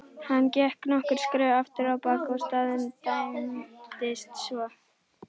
Hann gekk nokkur skref afturábak og staðnæmdist svo.